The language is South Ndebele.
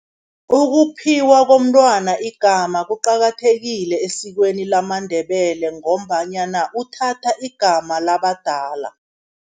Ukuphiwa komntwana igama kuqakathekile esikweni lamaNdebele, ngombanyana uthatha igama labadala.